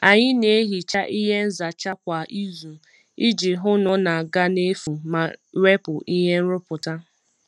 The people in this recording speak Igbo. Anyị na-ehicha ihe nzacha kwa izu iji hụ na ọ na-aga n'efu ma wepụ ihe nrụpụta.